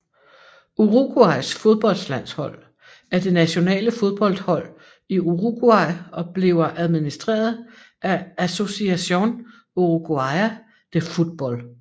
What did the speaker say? Uruguays fodboldlandshold er det nationale fodboldhold i Uruguay og bliver administreret af Asociación Uruguaya de Fútbol